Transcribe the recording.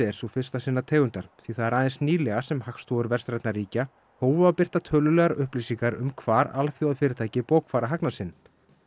er sú fyrsta sinnar tegundar því það er aðeins nýlega sem hagstofur vestrænna ríkja hófu að birta tölulegar upplýsingar um hvar alþjóðafyrirtæki bókfæra hagnað sinn